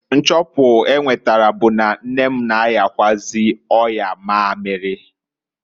Nchọpu enwetara bu na nne m na-ayakwụazị ọya mamiri (ọya shuga).